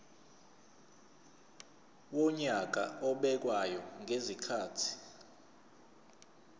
wonyaka obekwayo ngezikhathi